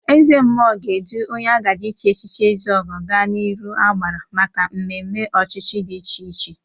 Ezemmụọ ga-edu onye agaje ichi echichi ezeogo ga n'iru agbara maka ememe ochichi dị iche iche.